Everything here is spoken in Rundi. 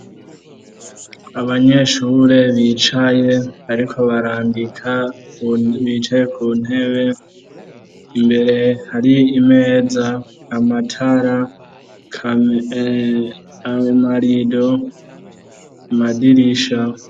Abanyeshure bicaye bariko barandika, bicaye ku ntebe, imbere hari imeza, amatara, amarido, amadirisha.